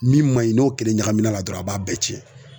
Min man ɲi n'o kelen ɲagamina na dɔrɔn a b'a bɛɛ cɛn.